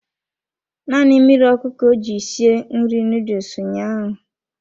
Naanị mmiri ọkụ ka o ji sie nri noodles ụnyaahụ.